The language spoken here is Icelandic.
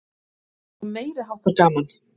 Svo meiriháttar gaman!